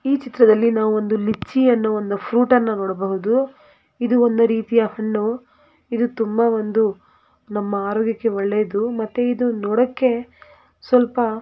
ಈ ಚಿತ್ರದಲ್ಲಿ ನಾವು ಒಂದು ಲಿಚಿ ಅನ್ನೋ ಒಂದು ಫ್ರೂಟ್ ಅನ್ನು ನೋಡಬಹುದು ಇದು ಒಂದು ರೀತಿಯ ಹಣ್ಣು ಇದು ತುಂಬಾ ಒಂದು ನಮ್ಮ ಆರೋಗ್ಯಕ್ಕೆ ಒಳ್ಳೆಯದು ಮತ್ತೆ ಇದು ನೋಡೋಕ್ಕೆ ಸ್ವಲ್ಪ --